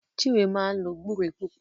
Chinwe máa ń lo gbúre púpọ̀